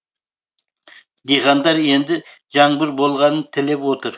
диқандар енді жаңбыр болғанын тілеп отыр